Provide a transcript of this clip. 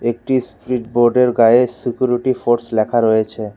একটি স্প্রিড বোর্ডের গায়ে সিকুরিটি ফোর্স লেখা রয়েছে।